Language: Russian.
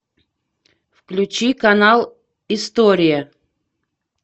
включи канал история